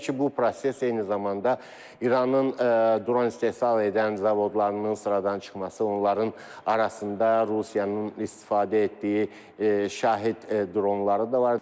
Və təbii ki, bu proses eyni zamanda İranın dron istehsal edən zavodlarının sıradan çıxması, onların arasında Rusiyanın istifadə etdiyi şahid dronları da var.